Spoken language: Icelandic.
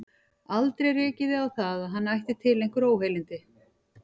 Aldrei rekið þig á það, að hann ætti til einhver óheilindi?